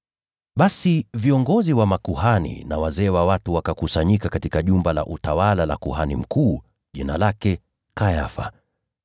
Basi viongozi wa makuhani na wazee wa watu wakakusanyika katika jumba la utawala la kuhani mkuu, jina lake Kayafa.